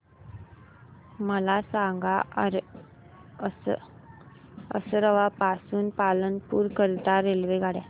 मला सांगा असरवा पासून पालनपुर करीता रेल्वेगाड्या